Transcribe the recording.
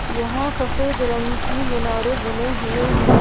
यहां सफेद रंग की मीनारे बने हुए हैं।